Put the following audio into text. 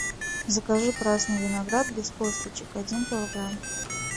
закажи красный виноград без косточек один килограмм